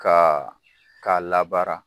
Ka k'a labaara.